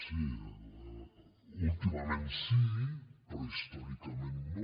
sí últimament sí però històricament no